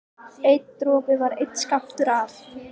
Hver dropi var einn skammtur af